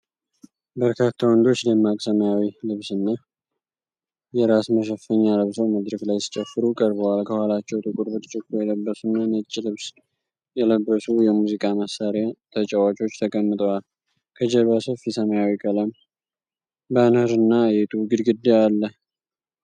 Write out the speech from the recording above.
በርካታ ወንዶች ደማቅ ሰማያዊ ልብስና የራስ መሸፈኛ ለብሰው መድረክ ላይ ሲጨፍሩ ቀርበዋል። ከኋላቸው ጥቁር ብርጭቆ የለበሱና ነጭ ልብስ የለበሱ የሙዚቃ መሣሪያ ተጫዋቾች ተቀምጠዋል። ከጀርባ ሰፊ ሰማያዊ ቀለም ባነርና የጡብ ግድግዳ አለ።